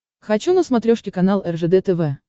хочу на смотрешке канал ржд тв